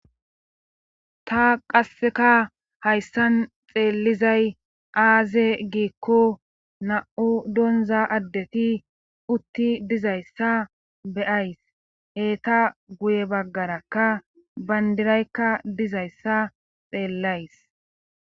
Ta qasseka hayssan xeellizay aaze giikko na7u donza addeti utti dizayssa beyays heta guye baggarakka bayndiraykka dizayssa xeellays.